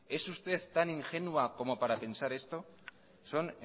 es usted tan ingenua como para pensar esto son